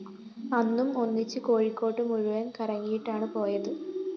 അന്നും ഒന്നിച്ച് കോഴിക്കോട് മുഴുവന്‍ കറങ്ങിയിട്ടാണ് പോയത്